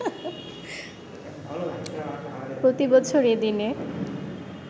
প্রতিবছর এ দিনে